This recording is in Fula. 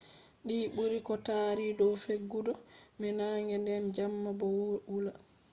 di buri ko tari dow fewugo be nange nden jamma bo wula